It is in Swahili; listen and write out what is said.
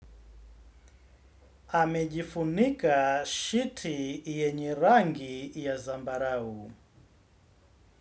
Amejifunika shiti yenye rangi ya zambarau.